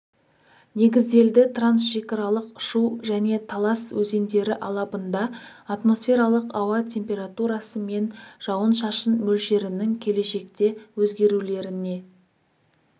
негізделді трансшекаралық шу және талас өзендері алабында атмосфералық ауа температурасы мен жауын-шашын мөлшерінің келешекте өзгерулеріне